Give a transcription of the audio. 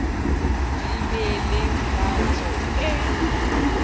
di be le tatso e